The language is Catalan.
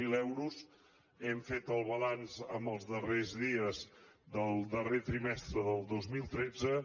zero euros hem fet el balanç els darrers dies del darrer trimestre del dos mil tretze